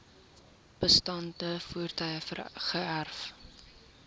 bestaande voertuie geërf